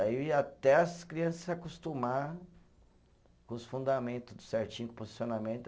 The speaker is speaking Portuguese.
Aí eu ia até as criança se acostumar com os fundamentos tudo certinho, com o posicionamento.